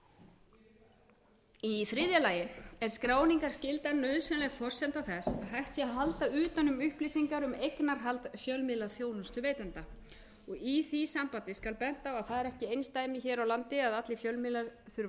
í þriðja lagi er skráningarskyldan nauðsynleg forsenda þess að hægt sé að halda utan um upplýsingar um eignarhald fjölmiðlaþjónustuveitenda í því sambandi skal bent á að það er ekki eindæmi hér á landi að allir fjölmiðlar þurfa að